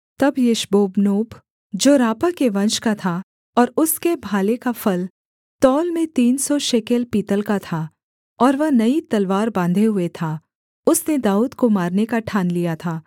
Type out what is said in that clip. तब यिशबोबनोब जो रापा के वंश का था और उसके भाले का फल तौल में तीन सौ शेकेल पीतल का था और वह नई तलवार बाँधे हुए था उसने दाऊद को मारने का ठान लिया था